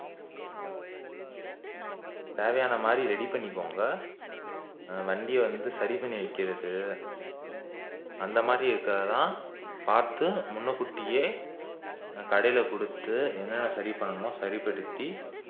தேவையான மாறி ready பண்ணிக்கொங்க ஆஹ் வண்டியை வந்து சரி பண்ணி வைக்குறது அந்தமாறி இருக்கக்கதான் பாத்து முன்னுக்கு ஊட்டியே ஆஹ் கடைல குடுத்து என்னன்ன சரி பண்ணணுமோ சரிப்படுத்தி